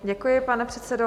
Děkuji, pane předsedo.